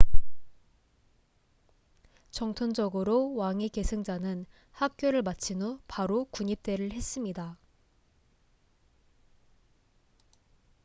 전통적으로 왕위 계승자는 학교를 마친 후 바로 군입대를 했습니다